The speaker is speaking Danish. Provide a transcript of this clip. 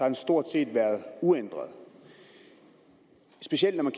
den stort set har været uændret specielt når man